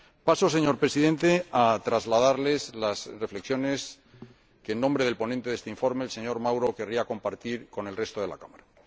Paso, señor Presidente, a trasladarles las reflexiones que, en nombre del ponente de este informe, señor Mauro, querría compartir con el resto de la Cámara.